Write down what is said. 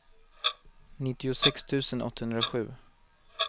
nittiosex tusen åttahundrasju